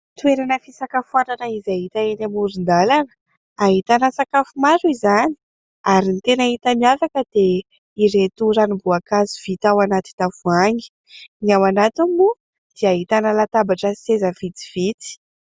Toerana fisakafoanana izay hita eny amoron-dalana, ahitana sakafo maro izany ary ny tena hita miavaka dia ireto ranom-boankazo vita ao anaty tavoahangy ; ny ao anatiny moa dia ahitana latabatra sy seza vitsivitsy.